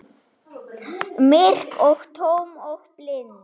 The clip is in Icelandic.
Myrk og tóm og blind.